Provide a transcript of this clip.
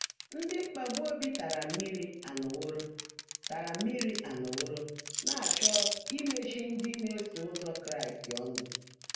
Ndị́ mkpàgbú óbí tààrá mmị́rí áńọ́wóró tààrá mmị́rí áńọ́wóró ná-áchọ́ ímechi ndị́ ná-èsó ụ́zọ́ Kráịst ọ́nụ́.